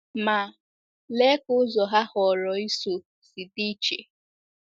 Ma, lee ka ụzọ ha họọrọ ịso si dị iche!